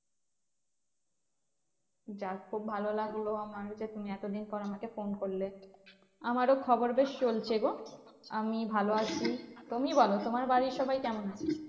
যাক খুব ভালো লাগলো আমার যে তুমি এত দিন পর আমাকে ফোন করলে। আমারও খবর বেশ চলছে গো। আমি ভালো আছি। তুমি বোলো তোমার বাড়ির সবাই কেমন আছে?